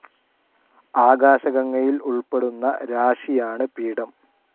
ആകാശഗംഗയിൽ ഉൾപ്പെടുന്ന രാശിയാണ് പീഠം.